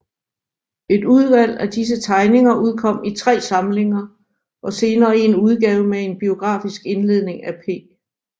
Et udvalg af disse tegninger udkom i tre samlinger og senere i en udgave med en biografisk indledning af P